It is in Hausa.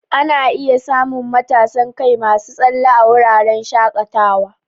Ana iya samun matasan kai masu tsalle a wuraren shakatawa.